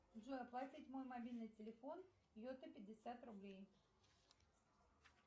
джой оплатить мой мобильный телефон йота пятьдесят рублей